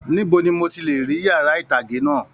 Níbo ní mò tí lè rí yàrá itage náà?